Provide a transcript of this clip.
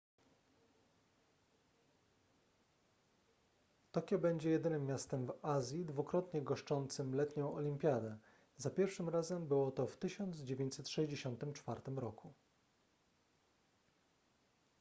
tokio będzie jedynym miastem w azji dwukrotnie goszczącym letnią olimpiadę za pierwszym razem było to w 1964 roku